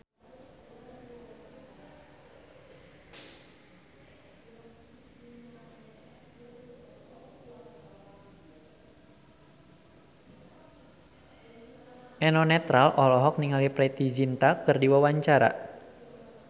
Eno Netral olohok ningali Preity Zinta keur diwawancara